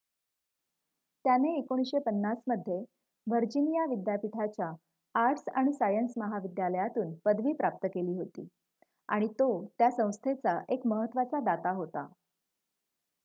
त्याने १९५० मध्ये व्हर्जिनिया विद्यापीठाच्या आर्ट्स आणि सायन्य महाविद्यालयातून पदवी प्राप्त केली होती आणि तो त्या संस्थेचा एक महत्त्वाचा दाता होता